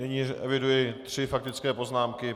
Nyní eviduji tři faktické poznámky.